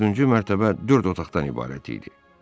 Dördüncü mərtəbə dörd otaqdan ibarət idi.